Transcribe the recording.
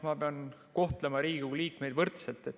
Ma pean kohtlema Riigikogu liikmeid võrdselt.